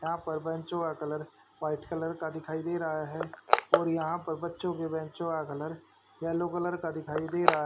यहां पर बेंचो का कलर वाइट कलर का दिखाई दे रहा है और यहां पर बच्चों के बेंचो का कलर येलो कलर का दिखाई दे रहा --